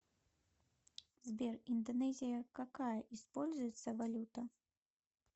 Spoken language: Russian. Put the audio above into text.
сбер индонезия какая используется валюта